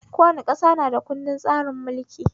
Kowace ƙasa na da kundin tsarin mulkinta